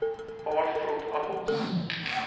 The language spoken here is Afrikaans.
paar vrot appels